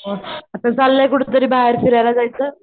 हो आता चाललंय कुठं तरी बाहेर फिरायला जायचं.